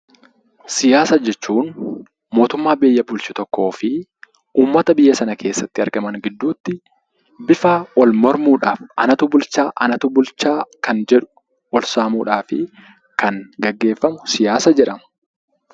Siyaasa jechuun mootummaa biyya bulchu tokkoo fi uummata biyya sanatti argaman gidduutti bifa wal mormuu dhaaf anatu bulchaa, anatu bulchaa kan jedhu, wal saamuudhaaf kan geeggeeffamu 'Siyaasa' jefhama.